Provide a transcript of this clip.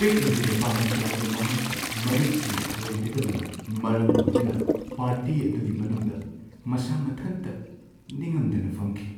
ꯄꯤꯛꯂꯤꯕ ꯅꯨꯄꯥꯃꯆꯥ ꯑꯗꯨ ꯃꯍꯥꯛꯀꯤ ꯃꯔꯨꯞꯁꯤꯡꯅ ꯊꯑꯣꯏꯕꯤꯗꯕꯅ ꯃꯔꯝ ꯑꯣꯏꯗꯨꯅ ꯄꯥꯔꯇꯤ ꯑꯗꯨꯒꯤ ꯃꯅꯨꯡꯗ ꯃꯁꯥ ꯃꯊꯟꯇ ꯅꯤꯡꯉꯝꯗꯅ ꯐꯝꯈꯤ꯫